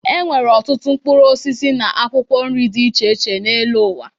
E nwere ọtụtụ mkpụrụosisi na akwụkwọ nri dị iche iche n'elu ụwa.